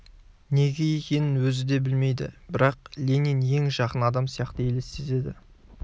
неге екенін өзі де білмейді бірақ ленин ең жақын адам сияқты елестеді